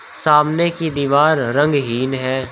सामने की दीवार रंगहीन है।